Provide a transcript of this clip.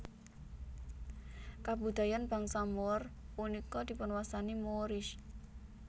Kabudayaan bangsa Moor punika dipunwastani Moorish